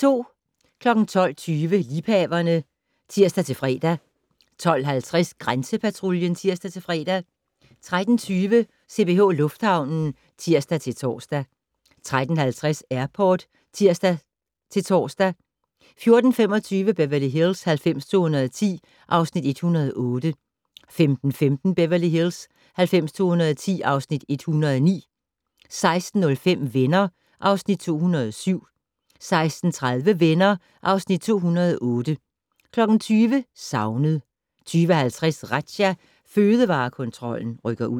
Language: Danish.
12:20: Liebhaverne (tir-fre) 12:50: Grænsepatruljen (tir-fre) 13:20: CPH Lufthavnen (tir-tor) 13:50: Airport (tir-tor) 14:25: Beverly Hills 90210 (Afs. 108) 15:15: Beverly Hills 90210 (Afs. 109) 16:05: Venner (Afs. 207) 16:30: Venner (Afs. 208) 20:00: Savnet 20:50: Razzia - Fødevarekontrollen rykker ud